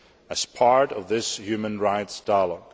as part of this human rights dialogue.